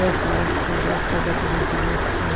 Eu compro, porque eu gosto de fazer aquele doce.